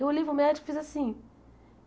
Eu olhei para o médico e fiz assim.